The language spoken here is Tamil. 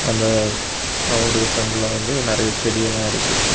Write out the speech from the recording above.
இந்த கிரவுண்டுக்கு பிரண்ட்ல வந்து நெறிய செடி எல்லாம் இருக்கு.